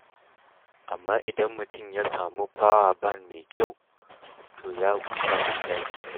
Amma idan mutum ya samu fawaban mai kyau, to ya huta da caji.